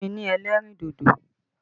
Fún mi ní ẹlẹ́rìndòdò!